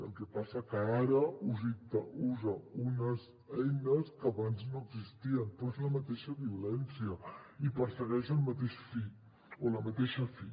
el que passa que ara usa unes eines que abans no existien però és la mateixa violència i persegueix el mateix fi